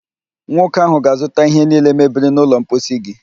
Nwoke áhụ̀ ga-azụta ihe niile mebiri n'ụlọ mposi gị